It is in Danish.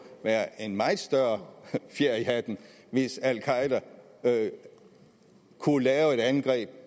være en meget større fjer i hatten hvis al qaeda kunne lave et angreb